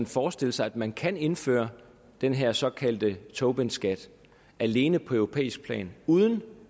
forestille sig at man kan indføre den her såkaldte tobinskat alene på europæisk plan uden at